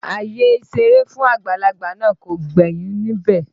Àyè ìṣeré fún àgbàlagbà náà kò gbẹ́yìn níbẹ̀